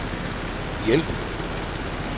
hjælp